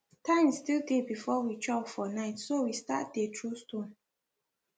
time still dey before we chop for night so we start dey throw stone